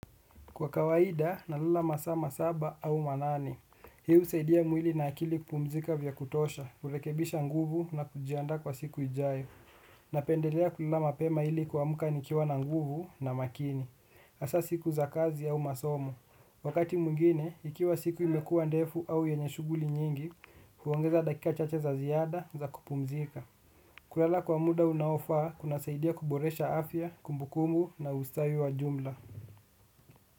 Kwa kawaida, nalala masaa saba au manane hii husaidia mwili na akili kupumzika vya kutosha, urekebisha nguvu na kujianda kwa siku ijayo. Napendelea kulala mapema ili kuamka nikiwa na nguvu na makini. Hasa siku za kazi au masomo. Wakati mwingine, ikiwa siku imekuwa ndefu au yenye shughuli nyingi, huongeza dakika chache za ziada za kupumzika. Kulala kwa muda unaofaa, kuna saidia kuboresha afya, kumbukumbu na ustawi wa jumla.